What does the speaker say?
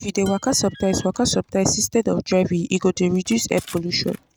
If you dey waka sometimes waka sometimes instead of driving, you go dey reduce air polution.